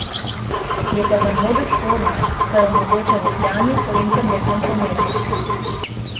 Je pa za mnoge sporna, saj omogoča vohljanje po internetnem prometu.